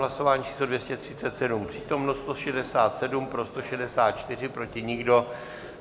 Hlasování číslo 237, přítomno 167, pro 164, proti nikdo.